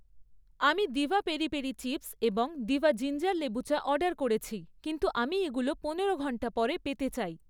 আমি Diva peri peri chips এবং Diva ginger লেবু চা অর্ডার করেছি কিন্তু আমি এগুলো পনেরো ঘন্টা পরে পেতে চাই।